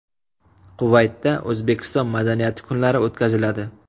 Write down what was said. Kuvaytda O‘zbekiston madaniyati kunlari o‘tkaziladi.